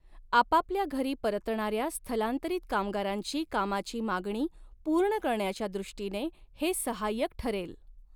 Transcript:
आपापल्या घरी परतणाऱ्या स्थलांतरित कामगारांची कामाची मागणी पूर्ण करण्याच्या दृष्टीने हे सहाय्यक ठरेल.